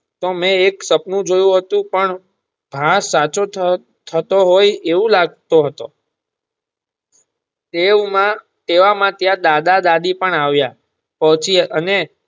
તો મેં એક સપનું જોયું હતું પણ ભાગ સાચો થતું હોય એવું લાગતું હતું એવામાં ત્યાં દાદા દાદી પણ આવિયા પછી અને.